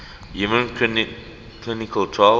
human clinical trials